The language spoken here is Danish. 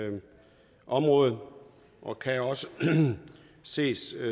område og kan også ses